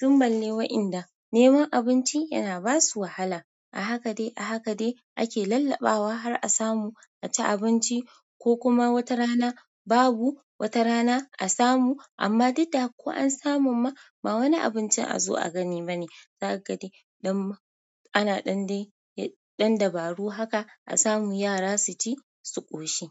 Tun balle wa'inda neman abinci yana ba su wahala. A haka dai a haka dai ake lallaɓawa har a samu a ci abinci, kokuma watarana babu watarana a samu. Amma duk da haka ko an samun ma ba wani abincin a zo a gani bane. Za ka ga dai ɗan. Ana ɗan dai. Ɗan dabaru haka a samu yara su ci su ƙoshi.